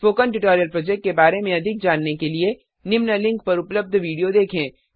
spoken tutorial project के बारे में अधिक जानने के लिए निम्न लिंक पर उपलब्ध विडियो देखें